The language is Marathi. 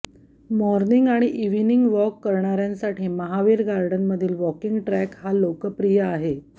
मॉर्निंग आणि इव्हिनिंग वॉक करणार्यांसाठी महावीर गार्डनमधील वॉकिंग ट्रॅक हा लोकप्रिय आहे